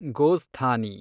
ಗೋಸ್ಥಾನಿ